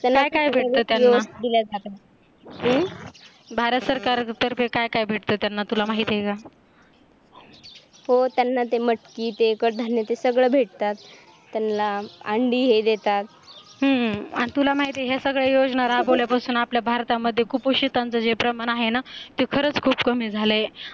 हो त्यांना ते मटकी ते कडधान्य ते सगळं भेटतात त्यांना अंडी हे देतात हम्म आणि तुला माहीत आहे या सगळ्या योजना राबवल्या पासून आपल्या भारतामध्ये कुपोषितांचं जे प्रमाण आहे ना ते खरच खूप कमी झाले